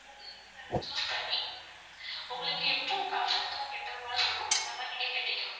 நீங்க அத choose பண்ணி உங்களுக்கு எப்போ comfortable ஆ கெட்ற மாதிரி இருக்கோ அந்த மாதிரி நீங்க கெட்டிக்கலாம்.